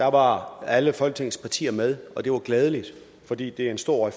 var alle folketingets partier med det var glædeligt fordi det er en stor